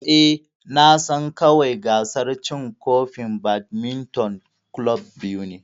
Eh, Na san kawai gasar cin kofin badminton club biyu ne.